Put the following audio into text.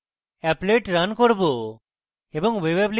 applet run করব এবং